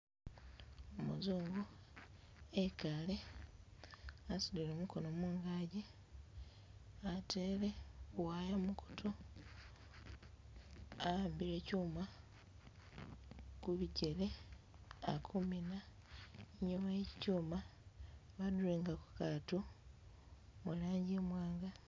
Umuzungu, ekaale asudile mukono mungaki, ateele bu'wire mukuutu, a'ambile chuma kubijele ali inyuma iye chichuma ba durowingako kakatu murangi imwanga.